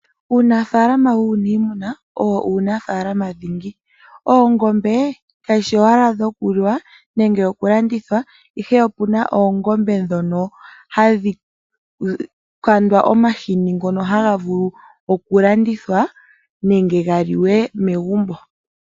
Uunafalama wunimuna owo uunafalama dhingi, oongombe kadhshi owala dhokuliwa nenge oku landithwa ihe opuna oongombe dhono hadhikandwa omahini ngono hangavulu okulandithwa nenge ngaliwe megumbo.